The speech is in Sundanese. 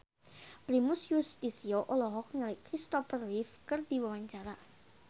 Primus Yustisio olohok ningali Christopher Reeve keur diwawancara